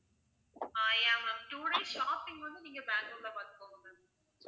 ஆஹ் yeah ma'am two days shopping வந்து நீங்க பேங்களூர்ல பாத்துக்கோங்க ma'am